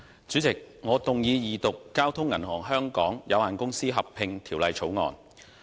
主席，我動議二讀《交通銀行有限公司條例草案》。